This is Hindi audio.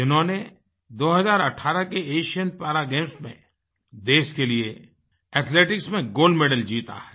जिन्होंने 2018 के एशियन पारा गेम्स में देश के लिए एथलेटिक्स में गोल्ड मेडल जीता है